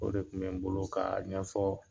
O de tun bɛ n bolo k'a ɲɛ fɔ.